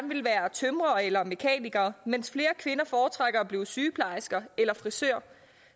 tømrere eller mekanikere mens flere kvinder foretrækker at blive sygeplejersker eller frisører